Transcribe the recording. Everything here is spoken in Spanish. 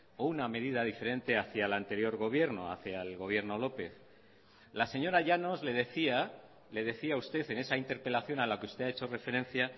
o una medida diferente hacia el anterior gobierno hacia el gobierno lópez la señora llanos le decía le decía a usted en esa interpelación a la que usted ha hecho referencia